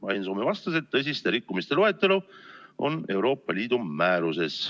Ain Soome vastas, et tõsiste rikkumiste loetelu on Euroopa Liidu määruses.